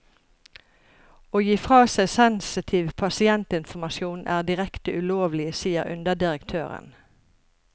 Å gi fra seg sensitiv pasientinformasjon er direkte ulovlig, sier underdirektøren.